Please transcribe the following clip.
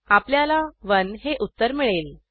आपल्याला 1 हे उत्तर मिळेल